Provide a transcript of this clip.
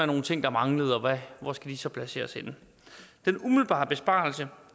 nogle ting der manglede og hvor skal de så placeres henne den umiddelbare besparelse